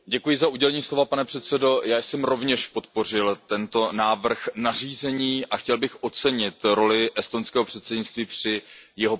Pane předsedající, já jsem rovněž podpořil tento návrh nařízení a chtěl bych ocenit roli estonského předsednictví při jeho prosazení.